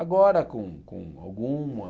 Agora com com alguma...